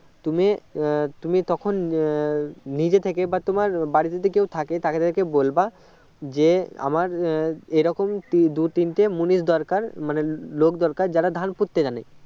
তুমি উম তখন আহ নিজে থেকে তোমার বাড়ি যদি কেউ থাকে তাকে দেখে বলবে যে আমার এরকম দুই তিনটে মুনিশ দরকার মানে লোক দরকার যারা ধান পুঁততে জানে